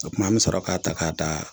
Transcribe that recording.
O tuma an bɛ sɔrɔ k'a ta k'a taa